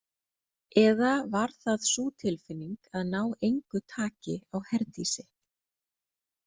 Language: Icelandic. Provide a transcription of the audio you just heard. Eða var það sú tilfinning að ná engu taki á Herdísi?